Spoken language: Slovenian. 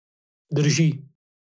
Drži.